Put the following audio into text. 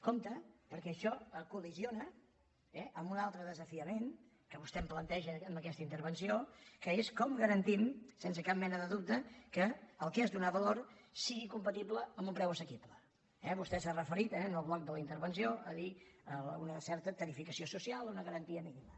compte perquè això col·lideix amb un altre desafiament que vostè em planteja en aquesta intervenció que és com garantim sense cap mena de dubte que el que és donar valor sigui compatible amb un preu assequible eh vostè s’ha referit en el bloc de la intervenció ha dit una certa tarificació social una garantia mínima